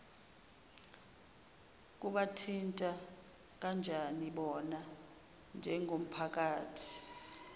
kubathinta kanjanibona njengomphakathi